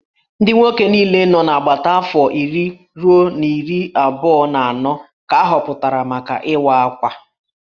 Ndị nwoke niile nọ n'agbata afọ iri ruo iri abụọ na anọ ka ahọpụtara maka Ịwa Akwa